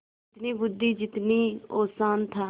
जितनी बुद्वि जितना औसान था